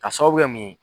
Ka sababu kɛ mun ye